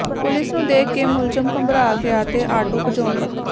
police ਨੂੰ ਦੇਖ ਕੇ ਮੁਲਜ਼ਮ ਘਬਰਾ ਗਿਆ ਤੇ ਆਟੋ ਭਜਾਉਣ ਲੱਗਿਆ